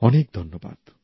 অনেক ধন্যবাদ